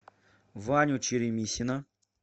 ваню черемисина